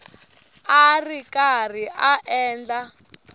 a ri karhi a endla